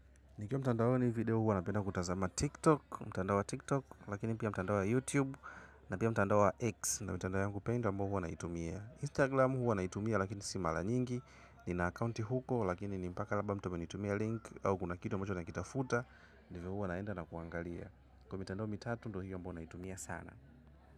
Nikiwa mtandaoni, video huwa napenda kutazama TikTok, lakini pia mtandao wa YouTube na pia mtandao wa X. Mtandao ninaoupenda mbali huwa naitumia Instagram, huwa naitumia lakini si mara nyingi. Nina akaunti huko, lakini ni mpaka labda mtu atume link au kitu kimoja nakitafuta. Ndivyo huwa naenda na kuangalia kwa mitandao mitatu, ndiyo hiyo ambayo huwa naitumia sana.